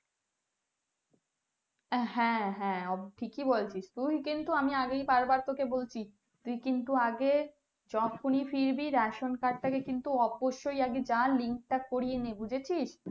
তুই কিন্তু আগে যখনি ফিরবি ration-card তাকে link তা করিয়ে না বুঝেছিস।